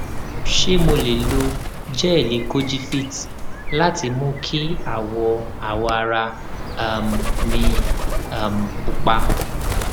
ṣé mo lè lo jẹẹlì kojivit láti mú kí awọ ara um mí um pupa